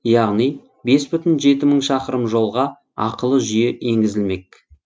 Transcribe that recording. яғни бес бүтін жеті мың шақырым жолға ақылы жүйе енгізілмек